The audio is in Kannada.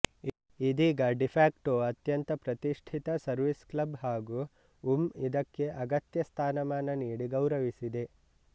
ಇದೀಗ ಡೀಫ್ಯಾಕ್ಟೋ ಅತ್ಯಂತ ಪ್ರತಿಷ್ಠಿತ ಸರ್ವಿಸ್ ಕ್ಲಬ್ ಹಾಗು ಉಂ ಇದಕ್ಕೆ ಅಗತ್ಯ ಸ್ಥಾನಮಾನ ನೀಡಿ ಗೌರವಿಸಿದೆ